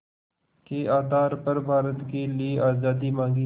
के आधार पर भारत के लिए आज़ादी मांगी